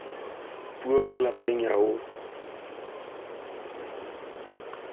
puong ya lapeng ho ya